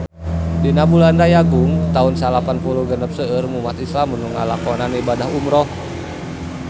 Dina bulan Rayagung taun salapan puluh genep seueur umat islam nu ngalakonan ibadah umrah